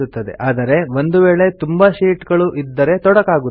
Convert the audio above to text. Calc ನಮ್ಮ ಇಷ್ಟದಂತೆ sheet ಗಳಿಗೆ ರಿನೇಮ್ ಮಾಡಲು ಅವಕಾಶ ಮಾಡಿ ಕೊಡುತ್ತದೆ